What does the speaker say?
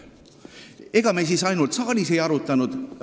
Ega me siis ainult saalis seda ei arutanud.